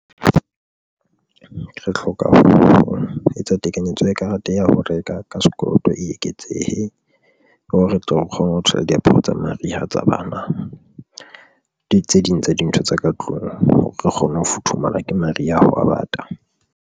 Re hloka ho etsa tekanyetso ya karete ya ho reka ka sekoloto e eketsehe hore re tle re kgone ho thola diaparo tsa mariha tsa bana, le tse ding tsa dintho tsa ka tlung hore re kgone ho futhumala, ke maria hwa bata.